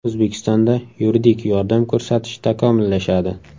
O‘zbekistonda yuridik yordam ko‘rsatish takomillashadi.